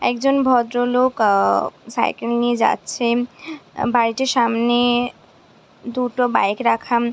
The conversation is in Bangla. একজন ভদ্রলোক আ সাইকেল নিয়ে যাছেন। বাড়িটির সামনে দুটো বাইক রাখা।